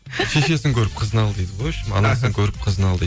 шешесін көріп қызын ал дейді ғой в общем анасын көріп қызын ал дейді